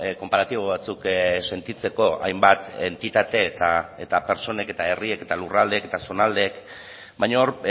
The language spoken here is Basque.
konparatibo batzuk sentitzeko hainbat entitate eta pertsonek eta herriek eta lurraldeek eta zonaldeek baina hor